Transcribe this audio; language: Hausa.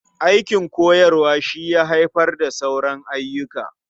Aikin koyarwa shi ya haifar da sauran ayyuka.